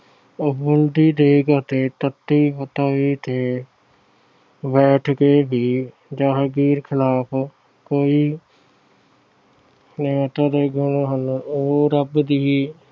ਉਬਲਦੀ ਦੇਗ ਅਤੇ ਤੱਤੀ ਤਵੀ ਤੇ ਬੈਠ ਕੇ ਵੀ ਜਹਾਂਗੀਰ ਖਿਲਾਫ ਕੋਈ ਨਿਮਰਤਾ ਦੇ ਗੁਣ ਹਨ। ਉਹ ਰੱਬ ਦੀ